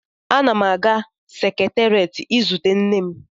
Ana m aga seketerịet izute nne m.